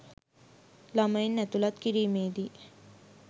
ළමයින් ඇතුළත් කිරීමේදී